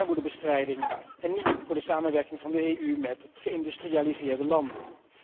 Voor armoedebestrijding en niet voor de samenwerking van de EU met geïndustrialiseerde landen.